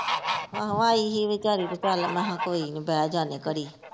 ਆਹੋ ਆਈ ਸੀ ਵਿਚਾਰੀ ਤੇ ਚੱਲ ਮੈਂ ਹਾਂ ਕੋਈ ਨੀ ਮੈਂ ਹਾਂ ਕੋਈ ਨੀ ਬਹਿ ਜਾਨੇ ਆ ਘੜੀ।